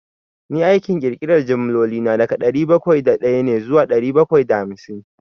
Ni aikin ƙirƙiran jimloli na, daga dari bakwai da ɗaya ne zuwa ɗari bakwai da hamsin.